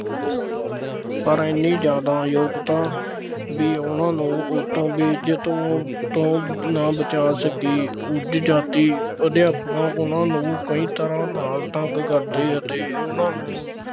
ਪਰ ਐਨੀ ਜ਼ਿਆਦਾ ਯੋਗਤਾ ਬਈ ਉਹਨਾ ਨੂੰ ਉੱਥੋਂ ਬੇਇੱਜ਼ਤ ਹੋਣ ਤੋਂ ਨਾ ਬਚਾ ਸਕੀ, ਉੱਚ ਜਾਤੀ ਅਧਿਆਪਕਾਂ ਉਹਨਾ ਨੂੰ ਕਈ ਤਰ੍ਹਾਂ ਨਾਲ ਤੰਗ ਕਰਦੇ ਅਤੇ ਉਹਨਾ ਨੂੰ